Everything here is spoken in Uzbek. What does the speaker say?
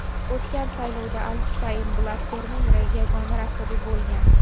O‘tgan saylovda al Husayn Blatterning yagona raqibi bo‘lgan.